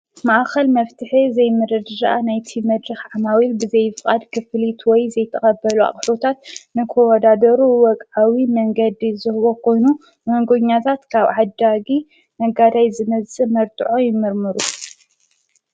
ማኣኸል መፍቲሐ ዘይምረድኣ ናይቲ መድኽ ዓማዊል ብዘይፍቓድ ክፍልትወይ ዘይተቐበሉ ኣኽሉታት ንኮወዳዶሩ ወቕኣዊ መንገዲ ዝህቦ ኾኑ መንጐኛታት ካብ ሓዳጊ ነጋዳይ ዘመዝፅእ መርድዖ ይምርምሩ።